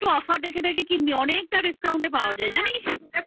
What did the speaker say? একটু offer দেখে দেখে কিনবি অনেকটা discount পাওয়া যায় জানিস?